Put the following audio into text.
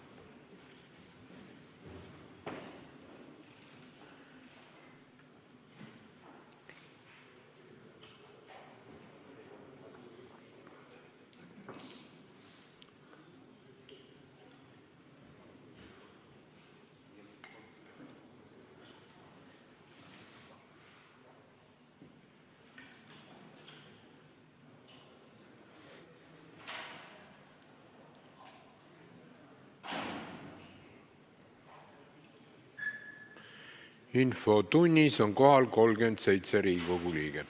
Kohaloleku kontroll Infotunnis on kohal 37 Riigikogu liiget.